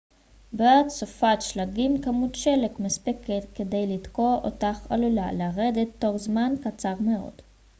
בעת סופת שלגים כמות שלג מספקת כדי לתקוע אותך עלולה לרדת תוך זמן קצר מאוד